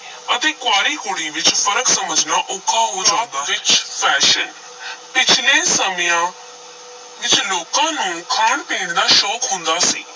ਅਤੇ ਕੁਆਰੀ ਕੁੜੀ ਵਿਚ ਫ਼ਰਕ ਸਮਝਣਾ ਔਖਾ ਹੋ ਵਿੱਚ fashion ਪਿੱਛਲੇ ਸਮਿਆਂ ਵਿਚ ਲੋਕਾਂ ਨੂੰ ਖਾਣ-ਪੀਣ ਦਾ ਸ਼ੌਕ ਹੁੰਦਾ ਸੀ।